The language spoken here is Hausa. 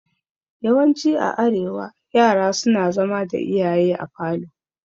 Yawanci a arewa yara suna zama da iyaye a falo.